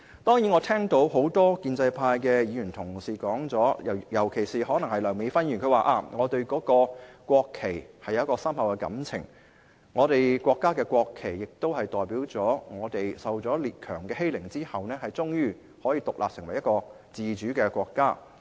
當然，我聽到很多建制派的議員，尤其是梁美芬議員說她對國旗有深厚的感情，我們國家的國旗代表了我們經受列強欺凌後，終於成為一個獨立自主的國家。